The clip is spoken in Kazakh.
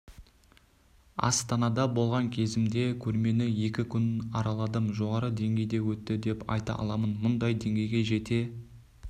астанада болған кезімде көрмені екі күн араладым жоғары деңгейді өтті деп айта аламын мұндай деңгейге жете